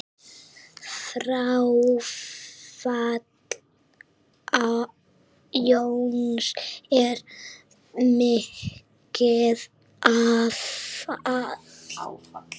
Fráfall Jóns er mikið áfall.